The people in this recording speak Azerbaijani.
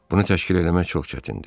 Bunu təşkil eləmək çox çətindir.